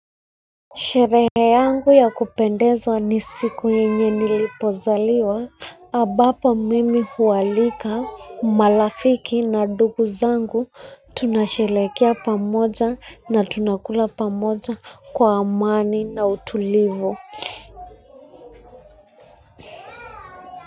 Sherehe yangu ya kupendezwa ni siku yenye nilipozaliwa, ambapo mimi hualika marafiki na ndugu zangu. Tunasherehekea pamoja na tunakula pamoja kwa amani na utulivu.